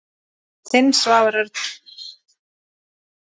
Þinn, Svavar Örn.